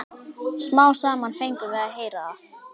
Smám saman fengum við að heyra það.